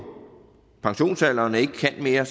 pensionsalderen og ikke kan mere